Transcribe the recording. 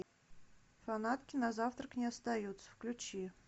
фанатки на завтрак не остаются включи